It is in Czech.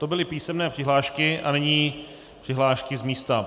To byly písemné přihlášky a nyní přihlášky z místa.